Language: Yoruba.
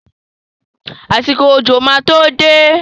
Àsìkò òjò máa to dé.